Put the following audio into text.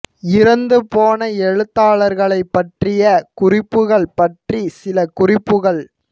இறந்து போன எழுத்தாளர்களைப் பற்றிய குறிப்புக்கள் பற்றிச் சில குறிப்புக்கள்